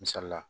Misali la